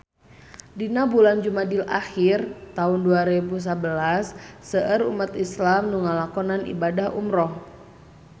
Dina bulan Jumadil ahir taun dua rebu sabelas seueur umat islam nu ngalakonan ibadah umrah